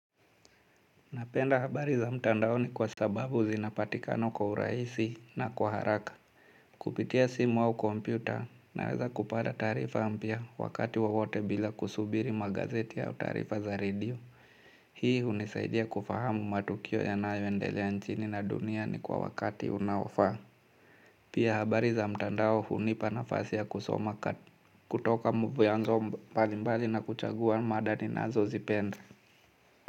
Napenda habari za mtandaoni kwa sababu zinapatikana kwa urahisi na kwa haraka. Kupitia simu au kompyuta, naweza kupada taarifa ampya wakati wowote bila kusubiri magazeti au taarifa za radio. Hii hunisaidia kufahamu matukio yanayoendelea nchini na duniani kwa wakati unaofaa. Pia habari za mtandao hunipa nafasi ya kusoma kutoka vyanzo mbalimbali na kuchagua mada ninazozipenda.